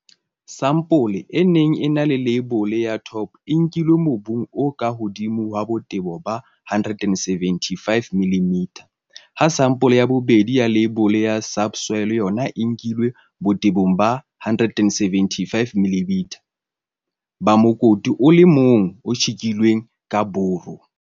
Sampole e neng e na le leibole ya Top e nkilwe mobung o ka hodimo wa botebo ba 175 mm, ha sampole ya bobedi ya leibole ya Subsoil yona e nkilwe botebong ba 175 mm ba mokoti o le mong o tjhekilweng ka buru.